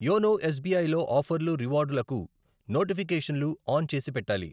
YONO S B I లో ఆఫర్లు, రివార్డులకు నోటిఫికేషన్లు ఆన్ చేసి పెట్టాలి.